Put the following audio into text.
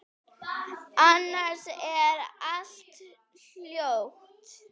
Annars er allt hljótt.